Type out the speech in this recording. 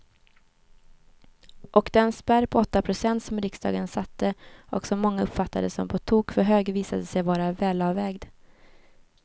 Och den spärr på åtta procent som riksdagen satte och som många uppfattade som på tok för hög visade sig vara välavvägd.